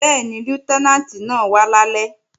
Bẹ́ẹ̀ni, Lútẹ́nàǹtì náà wá lálẹ́